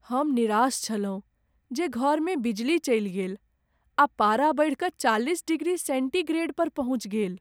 हम निराश छलहुँ जे घरमे बिजली चलि गेल आ पारा बढ़ि कऽ चालिस डिग्री सेन्टीग्रेडपर पहुँचि गेल।